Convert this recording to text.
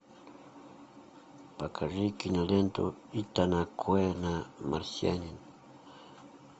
покажи киноленту итана коэна марсианин